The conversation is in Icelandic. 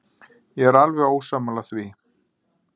Ég er alveg ósammála því.